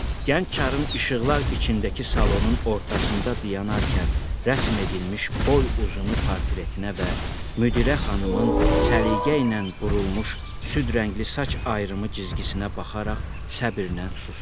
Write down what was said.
Gənc çarın işıqlar içindəki salonun ortasında dayanarkən rəsm edilmiş boy uzunu portretinə və müdirə xanımın səliqə ilə burulmuş süd rəngli saç ayrımı cizgisinə baxaraq səbrlə susdu.